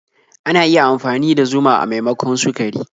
Ana iya amfani da zuma a maimakon sukari.